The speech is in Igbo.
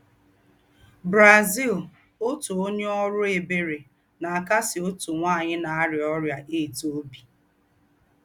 BRAZIL — Òtú ònyè órú ebèrè nà-àkásí òtú nwányị nà-àríá órị́à AIDS óbí.